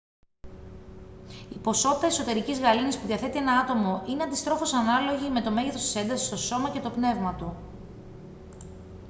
η ποσότητα εσωτερικής γαλήνης που διαθέτει ένα άτομο είναι αντιστρόφως ανάλογη με το μέγεθος της έντασης στο σώμα και το πνεύμα του